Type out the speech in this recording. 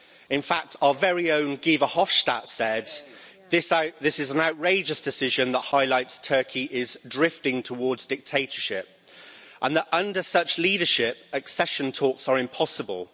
In fact, our very own Guy Verhofstadt said this is an outrageous decision that highlights Turkey is drifting towards dictatorship, and that under such leadership accession talks are impossible.'